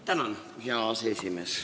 Hea aseesimees!